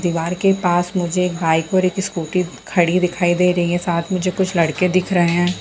दिवार के पास मुझे एक बाइक और एक स्कूटी खड़ी दिखाई दे रही है साथ मुझे कुछ लड़के दिख रहें हैं।